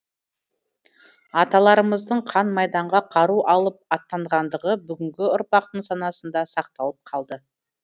аталарымыздың қан майданға қару алып аттанғандығы бүгінгі ұрпақтың санасында сақталып қалды